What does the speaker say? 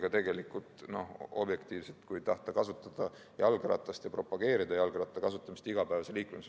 See tegelikult, kui tahta kasutada jalgratast ja propageerida selle kasutamist igapäevase liiklusvahendina.